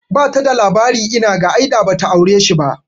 Bata da labari inaga, ai da bata aure shi ba